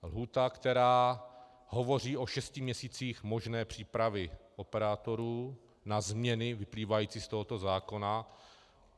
Lhůta, která hovoří o šesti měsících možné přípravy operátorů na změny vyplývající z tohoto zákona.